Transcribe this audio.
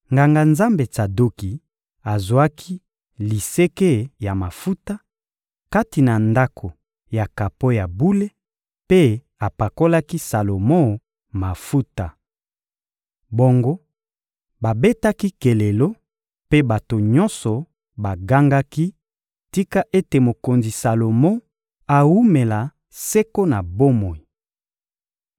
Nganga-Nzambe Tsadoki azwaki liseke ya mafuta, kati na ndako ya kapo ya bule, mpe apakolaki Salomo mafuta. Bongo, babetaki kelelo, mpe bato nyonso bagangaki: «Tika ete mokonzi Salomo awumela seko na bomoi!»